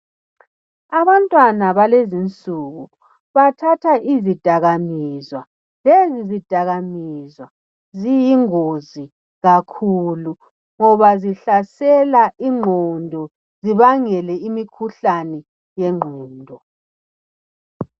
Abantwana balezinsuku bathatha izidakamizwa ,lezi zidakamizwa .Ziyingozi kakhulu ngoba zihlasela ingqondo ,zibangele imikhuhlani yengqondo.